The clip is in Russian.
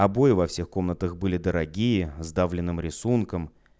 обои во всех комнатах были дорогие с давленным рисунком